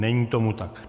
Není tomu tak.